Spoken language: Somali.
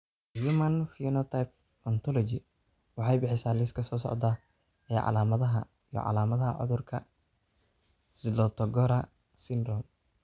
The Human Phenotype Ontology waxay bixisaa liiska soo socda ee calaamadaha iyo calaamadaha cudurka Zlotogora syndrome.